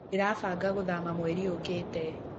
Ndĩrabanga gũthama mweri ũkĩte.